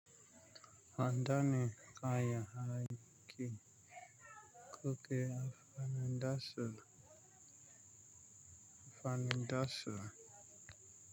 Adani kayan aiki goge andasu anfanin da su. Ala.